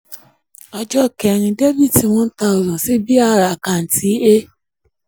ọjọ́ kẹ́rin: dr one thousand sí b/r àkáǹtì a